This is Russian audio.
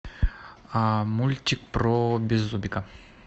мультик про беззубика